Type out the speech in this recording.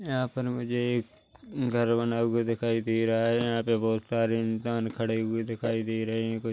यहाँ पर मुझे एक घर बना हुआ दिखाई दे रहा है यहाँ पर बहुत सारे इंसान खड़े हुए दिखाई दे रहे है कुछ--